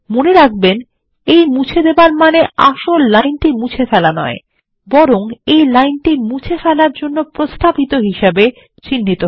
মনে রাখবেন এই মুছে দেবার মানে আসলে লাইনটি মুছে ফেলা নয় বরং এই লাইনটি মুছে ফেলার জন্য প্রস্তাবিত হিসাবে চিহ্নিত হয়